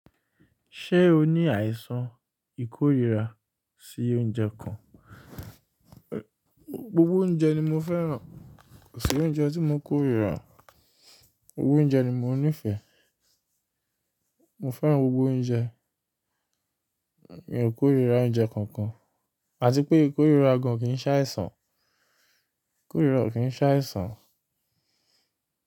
Ṣé o ní àìsàn ìkórira sí oúnjẹ kan? Gbogbo oúnjẹ ni mo fẹ́ràn, kò sí oúnjẹ tí mo ń kórira, gbogbo oúnjẹ ni mo nífẹ̀ẹ́. Mo fẹ́ràn gbogbo oúnjẹ, mi ò kórira oúnjẹ kankan, àti pé ìkórira gan kì í ṣàìsàn, ìkórira kò kí ń ṣàìsàn.